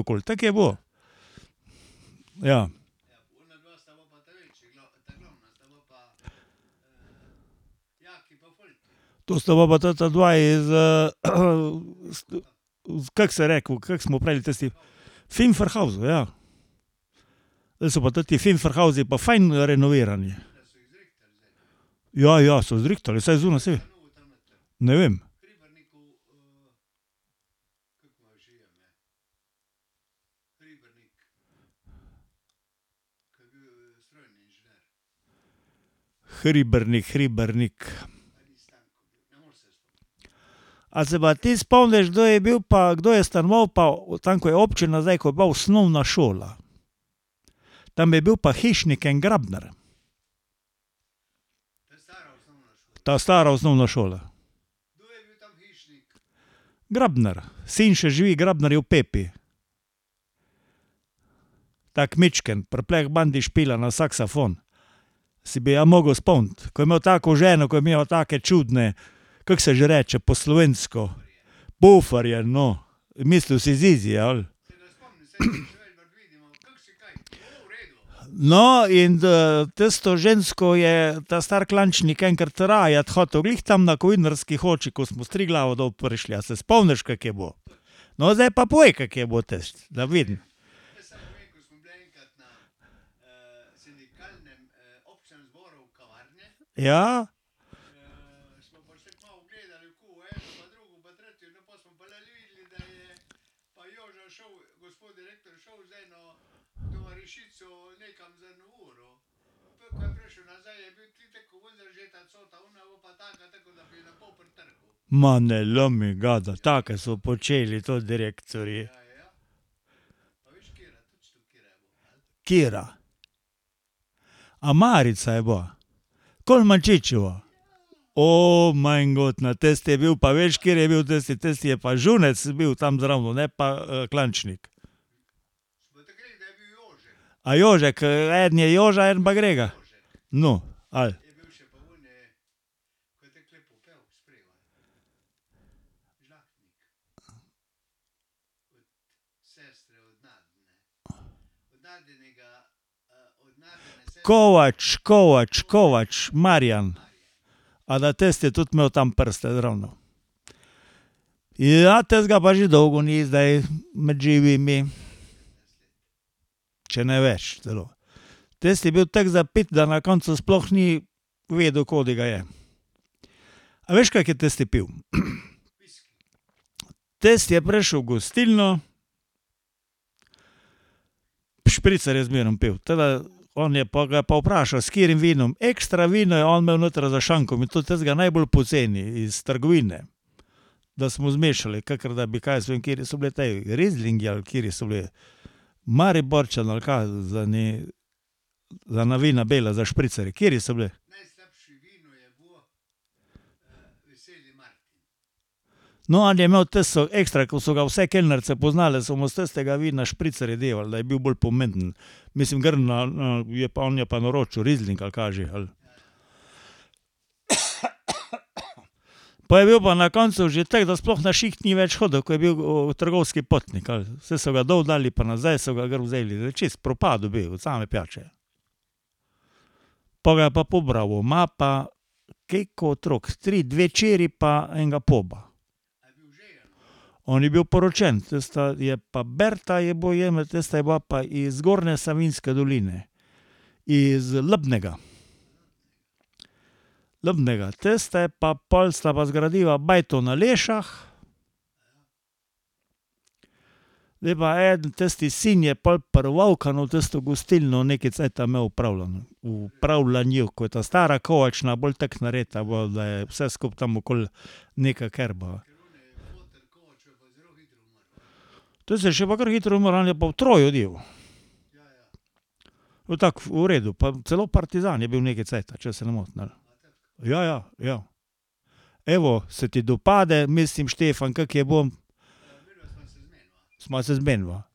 okoli, tako je bilo. Ja. To sta bila pa tota dva iz ... Kako se je reklo, kako smo pravili tisti ... Finferhausu, ja. Zdaj so pa toti Finferhausi pa fajn renovirani. Ja, ja so zrihtali vsaj . Ne vem. Hribernik, Hribernik. A se pa ti spomniš, kdo je bil pa, kdo je stanoval pa tam, ko je občina zdaj, ko je bila osnovna šola? Tam je bil pa hišnik en, Grabnar. Ta stara osnovna šola. Grabnar, sin še živi, [ime in priimek] . Tako mičken, pri Plehbandi špila na saksofon. Se bi ja mogel spomniti, ko je imel tako ženo, ko je imela take čudne, kako se že reče po slovensko? Buferje, no. Mislil si zizi, ali? No, in tisto žensko je ta stari Klančnik enkrat rajati hotel, glih tam na Kovinarski koči, ko smo s Triglava dol prišli, a se spomniš, kako je bilo? No, zdaj pa povej, kako je bilo tisto, da vidim. Ja. Ma ne lomi ga, da take so počeli tudi direktorji. Katera? A Marica je bila? . majngod, na tisti je bil pa, veš, kateri je bil tisti, tisti je pa Žunec bil tam zraven, ne pa Klančnik. A Jožek? eden je Joža, eden pa Grega. No, ali ... Kovač, Kovač, [ime in priimek] . A da tisti je tudi imel tam prste tam zravno? Ja, tistega pa že dolgo ni zdaj med živimi. Če ne več celo. Tisti je bil tako zapit, da na koncu sploh ni vedel, kod ga je. A veš, kako je tisti pil? Tisti je prišel v gostilno, špricar je zmeraj pil, tako da on je pol ga je pa vprašal, s katerim vinom, ekstra vino je on imel notri za šankom, in to takega najbolj poceni iz trgovine. Da smo zmešali, kakor da bi, kaj jaz vem, kateri so bili ti, rizlingi ali kateri so bili? Mariborčan ali kaj za eni, za ena vina bela za špricar, kateri so bili? No, ali je imel tisto ekstra, ko so ga vse kelnarice poznale, so mu s tistega vina špricarje devale, da je bil bolj pomemben. Mislim, gor na, na je pa on je pa naročil rizling ali kaj že, ali. Pol je bil pa na koncu že tako, da sploh na šiht ni več hodil, ko je bil trgovski potnik ali, saj so ga dol dali pa nazaj so ga gor vzeli, zdaj čisto propadel bi od same pijače. Pol ga je pa . Ima pa koliko otrok, tri, dve hčeri pa enega poba. On je bil poročen. Tista je pa Berta je tista je bila pa iz Zgornje Savinjske doline. Iz Ljubnega. Ljubnega. Tista je pa, pol sta pa zgradila bajto na Lešah. Zdaj je pa eden tisti sin je pol pri tisto gostilno nekaj cajta imel opravljano, v upravljanju, ko je ta stara Kovačna bolj tako narejena bila, da je vse skupaj tam okoli nekako . To se je še pa kar hitro . Pa tako v redu, pa celo partizan je bil nekaj cajta, če se ne motim, ali. Ja, ja, ja. Evo, se ti dopade, mislim Štefan, kako je bilo? Sva se zmeniva.